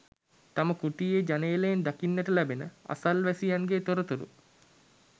තම කුටියේ ජනේලයෙන් දකින්නට ලැබෙන අසල්වැසියන්ගේ තොරතුරු